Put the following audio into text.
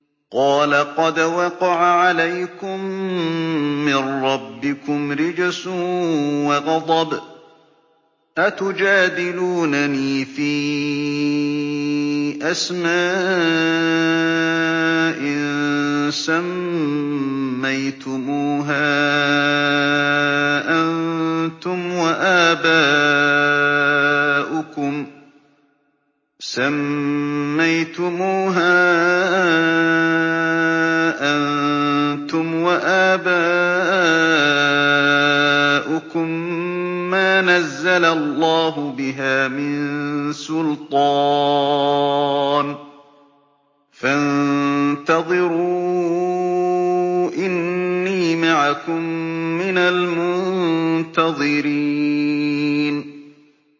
قَالَ قَدْ وَقَعَ عَلَيْكُم مِّن رَّبِّكُمْ رِجْسٌ وَغَضَبٌ ۖ أَتُجَادِلُونَنِي فِي أَسْمَاءٍ سَمَّيْتُمُوهَا أَنتُمْ وَآبَاؤُكُم مَّا نَزَّلَ اللَّهُ بِهَا مِن سُلْطَانٍ ۚ فَانتَظِرُوا إِنِّي مَعَكُم مِّنَ الْمُنتَظِرِينَ